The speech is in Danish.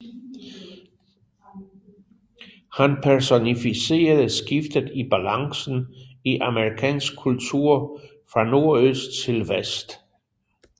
Han personificerede skiftet i balancen i amerikansk kultur fra nordøst til vest